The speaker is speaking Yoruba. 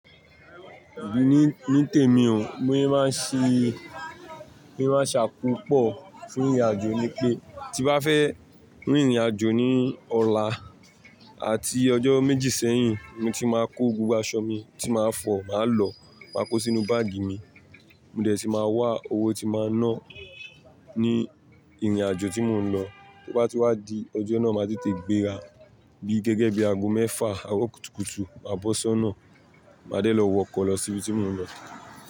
Emi ní, ní tèmi bi mo se n màá ṣe, bi mo se màá ṣàkópọ̀ fún ìrìnàjò ni pé tí bá fẹ́ rìnrìnàjò ní ọ̀la àti ọjọ́ méjì sẹ́yìn, mo ti máa kó gbogbo aṣọ mi tí màá fọ̀, màá lọ, máa kó sínú báàgì mi. Mo dẹ̀ tí máa wá owó tí máa náà ní ìrìnàjò tí mò ń lọ. Ti ó bá ti wá di ọjọ́ náà, màá tètè gbéra bí gẹ́gẹ́ bí ago mẹ́fà, àro kùtùkùtù, màbọ̀ ṣonà, màá dẹ̀ lọ wọkọ̀ lọ sí ibi tí mò ń lọ.